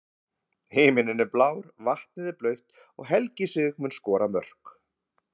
Himininn er blár, vatnið er blautt og Helgi Sig mun skora mörk.